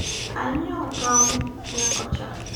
anyiewo tong nyakocha